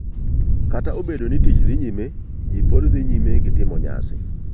Kata obedo ni tich dhi nyime, ji pod dhi nyime gi timo nyasi.